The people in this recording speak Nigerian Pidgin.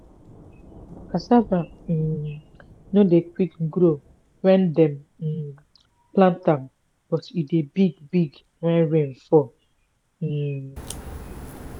cassava um no dey quick grow wen dem um plant am but e dey big big when rain fall um.